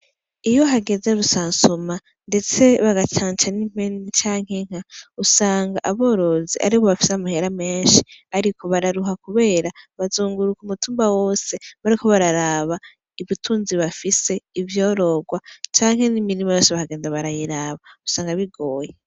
Iyi hageze rusansuma ndetse bagacanca n’impene canke inka , usanga aborozi aribo bafise amahera menshi ariko bararuha kubera bazunguruka umutumba wose bariko bararaba ibitunzi bafise ivyorogwa canke n’imirima yose bakagenda barayiraba .